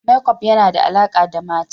Makeup yana da alaƙa da mata.